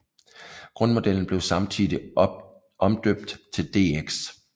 Grundmodellen blev samtidig omdøbt til DX